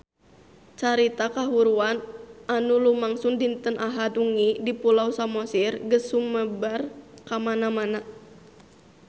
Carita kahuruan anu lumangsung dinten Ahad wengi di Pulau Samosir geus sumebar kamana-mana